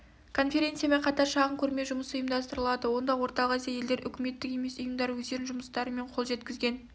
конференциямен қатар шағын көрме жұмысы ұйымдастырылады онда орталық азия елдерінің үкіметтік емес ұйымдары өздерінің жұмыстары мен қол жеткізген